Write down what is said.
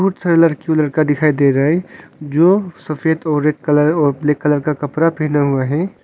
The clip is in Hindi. सारा लड़की और लड़का दिखाई दे रहा है जो सफेद और रेड कलर और ब्लैक कलर का कपड़ा पहना हुआ है।